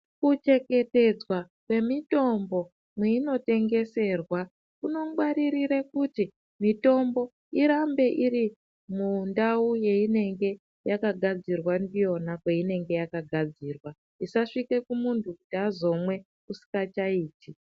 Kuchengetedzwa kwemitombo mweinotengeserwa kunongwaririre kuthi mutombo irambe iri mundawu yeinenge yakagadzirwa ndiyona kweyinonge yakagadzirwa isasvike kumunthu kuti azomwe usikachaiti.